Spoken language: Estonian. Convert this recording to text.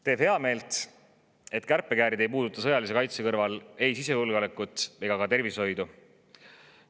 Teeb heameelt, et kärpekäärid ei puuduta sõjalise kaitse kõrval ei sisejulgeolekut ega ka tervishoidu.